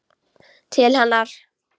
Til hennar.